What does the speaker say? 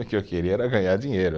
O que eu queria era ganhar dinheiro.